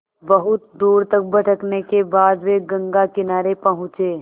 बहुत दूर तक भटकने के बाद वे गंगा किनारे पहुँचे